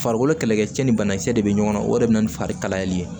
Farikolo kɛlɛkɛcɛ ni banakisɛ de bɛ ɲɔgɔn na o de be na ni fari kalayali ye